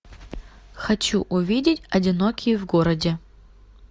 хочу увидеть одинокие в городе